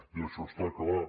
i això està clar